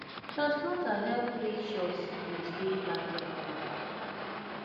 transplanter help make sure seedlings dey planted proper